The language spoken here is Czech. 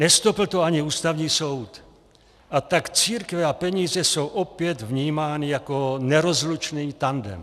Nestopl to ani Ústavní soud, a tak církve a peníze jsou opět vnímány jako nerozlučný tandem.